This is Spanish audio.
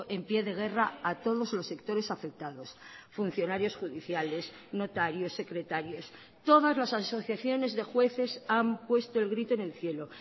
en pie de guerra a todos los sectores afectados funcionarios judiciales notarios secretarios todas las asociaciones de jueces han puesto el grito en el cielo